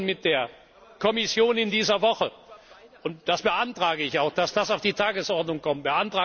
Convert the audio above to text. Wir diskutieren mit der Kommission in dieser Woche, und ich beantrage auch, dass das auf die Tagesordnung kommt.